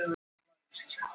Milljón plötur á einni viku